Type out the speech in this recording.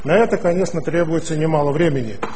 на это конечно требуется немало времени